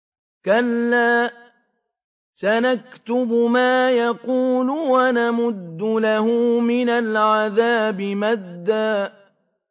كَلَّا ۚ سَنَكْتُبُ مَا يَقُولُ وَنَمُدُّ لَهُ مِنَ الْعَذَابِ مَدًّا